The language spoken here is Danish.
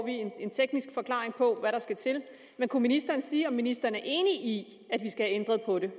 en teknisk forklaring på hvad der skal til men kunne ministeren sige om ministeren er enig i at vi skal ændre på det